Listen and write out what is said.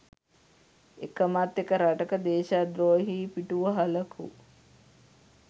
එකමත් එක රටක දේශද්‍රෝහී පිටුවහලකු